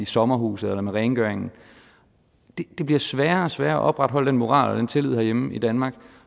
sommerhuse eller rengøring det bliver sværere og sværere at opretholde den moral og den tillid herhjemme i danmark